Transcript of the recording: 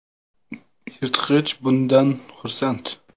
Yirtqich bundan xursand .